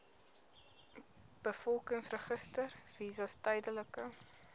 bevolkingsregister visas tydelike